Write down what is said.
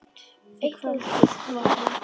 Þið földuð vopnin.